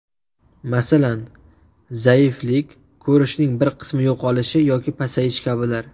Masalan, zaiflik, ko‘rishning bir qismi yo‘qolishi yoki pasayishi kabilar.